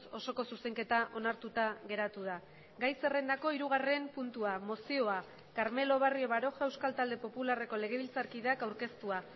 osoko zuzenketa onartuta geratu da gai zerrendako hirugarren puntua mozioa carmelo barrio baroja euskal talde popularreko legebiltzarkideak aurkeztua